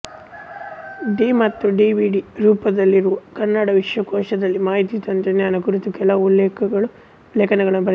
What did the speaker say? D ಮತ್ತು D V D ರೂಪದಲ್ಲಿರುವ ಕನ್ನಡ ವಿಶ್ವಕೋಶದಲ್ಲಿ ಮಾಹಿತಿ ತಂತ್ರಜ್ಙಾನ ಕುರಿತು ಕೆಲವು ಲೇಖನಗಳನ್ನು ಬರೆದಿದ್ದಾರೆ